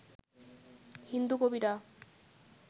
হিন্দু কবিরা